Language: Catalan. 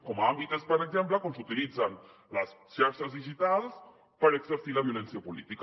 com a àmbit és per exemple quan s’utilitzen les xarxes digitals per exercir la violència política